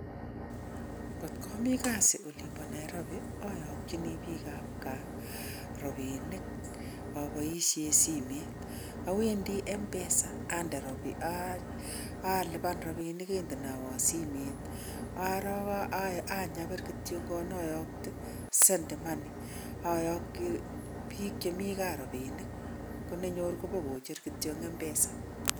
Kot ka mii kasiit olimbo Nairobi aayokchin biikab gaa rapinik apoishen simet, awendi mpesa alipan rapinik kendenaiwo simet arook anyapir kityongon ayokte send money ayokchi biik che mi gaa rapinik konenyoru ipkocher kityo eng mpesa.